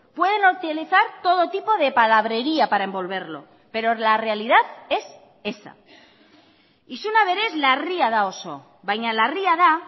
pueden utilizar todo tipo de palabrería para envolverlo pero la realidad es esa isuna berez larria da oso baina larria da